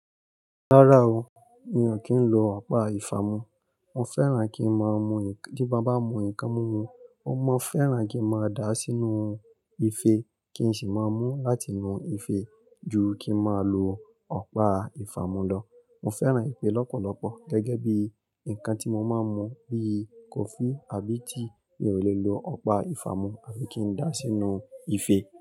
Rárá o, mi ò kí ń lo ọ̀pá ìfámú. Mo fẹ́ràn kí máa mú-- tí bá bá mú nǹkan mú mu, ó má fẹ́ràn kí a máa dàá sínú ife kí n sì máa mú láti inú ife ju kí máa lo ọ̀pá ìfámú lọ. Mo fẹ́ràn ìfè lọ́pọ̀lọpọ̀ gẹ́gẹ́ bí nǹkan tí mo máa ń mú bíi kọfí àbí tíì, mi ò lè lo ọ̀pá ìfámú àfi kí n dà á sínú ife.